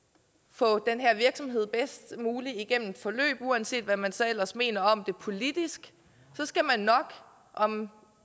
få den her virksomhed bedst muligt igennem et forløb uanset hvad man så ellers mener om det politisk så skal man nok om